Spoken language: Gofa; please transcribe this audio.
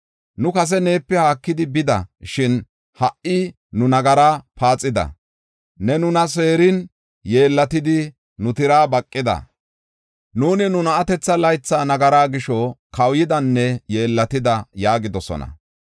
Nu kase neepe haakidi bida; shin ha77i nu nagara paaxida. Ne nuna seerin, yeellatidi nu tiraa baqida. Nuuni nu na7atetha laytha nagaraa gisho, kawuyidanne yeellatida’ yaagidosona.